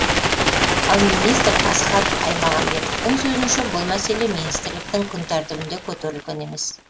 ал министр асхат аймағамбетовтың сөзінше бұл мәселе министрліктің күн тәртбінде көтерілген емес